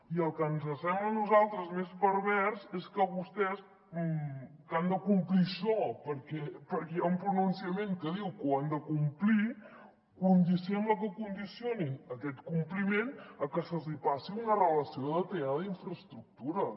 i el que ens sembla a nosaltres més pervers és que vostès que han de complir això perquè hi ha un pronunciament que diu que ho han de complir sembla que condicionin aquest compliment a que se’ls hi passi una relació detallada d’infraestructures